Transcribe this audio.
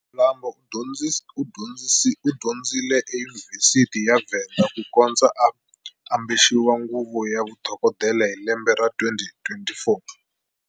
Mlambo u dyondzile eyunivhesiti ya Venda ku kondza a ambexiwa nguvu ya vudokodela hi lembe ra 2024.